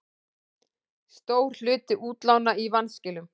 Stór hluti útlána í vanskilum